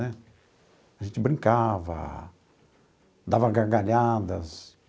Né a gente brincava, dava gargalhadas.